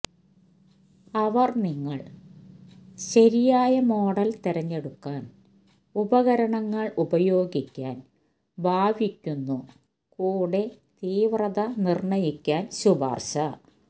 അവർ നിങ്ങൾ ശരിയായ മോഡൽ തിരഞ്ഞെടുക്കാൻ ഉപകരണങ്ങൾ ഉപയോഗിക്കാൻ ഭാവിക്കുന്നു കൂടെ തീവ്രത നിർണ്ണയിക്കാൻ ശുപാർശ